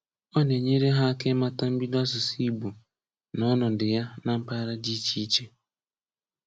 Ọ na-enyere ha aka ịmata mbido asụsụ Igbo na ọnọdụ ya na mpaghara dị iche iche.